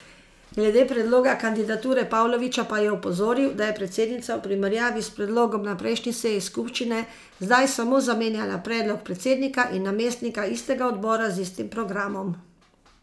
Glede predloga kandidature Pavlovića pa je opozoril, da je predsednica v primerjavi s predlogom na prejšnji seji skupščine zdaj samo zamenjala predlog predsednika in namestnika istega odbora z istim programom.